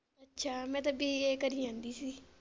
ਅੱਛਾ ਮੈ ਤਾਂ ਬੀ ਐ ਕਰੀ ਜਾਂਦੀ ਸੀ।